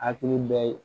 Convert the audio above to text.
Hakili bɛ ye